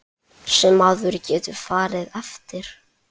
Sem maður getur farið eftir.